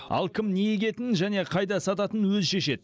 ал кім не егетінін және қайда сататын өзі шешеді